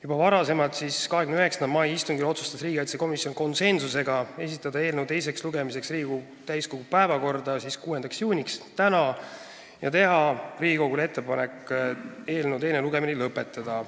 Juba varem, 29. mai istungil, otsustas riigikaitsekomisjon konsensusega esitada eelnõu teiseks lugemiseks Riigikogu täiskogu päevakorda 6. juuniks ehk tänaseks ja teha Riigikogule ettepaneku eelnõu teine lugemine lõpetada.